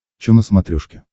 чо на смотрешке